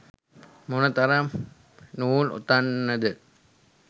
මොන තරම් නූල් ඔතන්න ද?